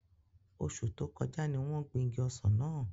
Oṣu to koja ni won gbin igi ọsan náa.